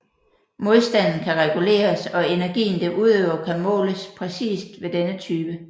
Modstanden kan reguleres og energien det udøver kan måles præcist ved denne type